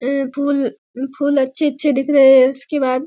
अे फूल फूल अच्छे-अच्छे दिख रहे हैंउसके बाद --